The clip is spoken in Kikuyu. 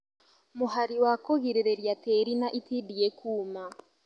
Mũhari wa kũgirĩria tĩri na itindiĩ kũũma